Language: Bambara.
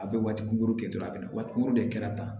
A bɛ waati kunkurunin kɛ dɔrɔn a bɛ na waati de kɛra tan